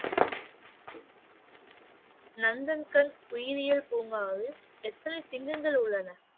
நந்தன்கன் உயிரியல் பூங்காவில் எத்தனை சிங்கங்கள் உள்ளன?